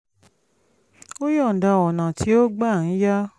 ó yọ̀ǹda ọ̀nà tí ó gbà ń ya